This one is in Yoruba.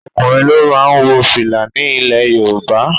Ọkùnrin ló máa ń wo fìlà ni ilẹ̀ Yorùbá